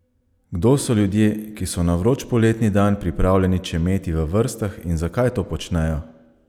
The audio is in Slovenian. Kdo so ljudje, ki so na vroč poletni dan pripravljeni čemeti v vrstah in zakaj to počnejo?